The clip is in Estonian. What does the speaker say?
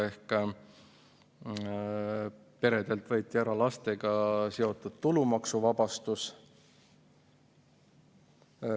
Ehk peredelt võeti ära lastega seotud tulumaksuvabastus.